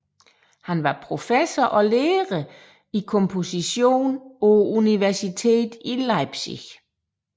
Han var professor og lærer i komposition på Universitetet i Leipzig